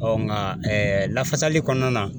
Ɔ nka lafasali kɔnɔna na